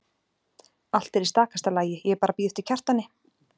Allt er í stakasta lagi, ég er bara að bíða eftir Kjartani.